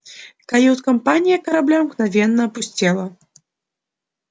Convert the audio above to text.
кают-компания корабля мгновенно опустела